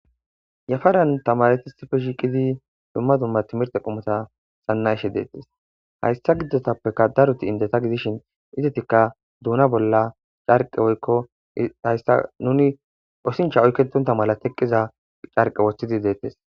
Yafaran tamaretisife shiiqidi dumma dumma timirte qumota xanna ishe deettes hayssa gidotappeka daruti indeta gidishin idetikka duuna bolla carqe woykko hayssa nuni osincha oykketonta mala teqqiza carqe woththidi deettes.